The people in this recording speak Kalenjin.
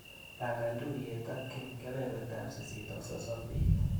Pangan tuiyet ak Kim kebebertap sisit ak sosom bet.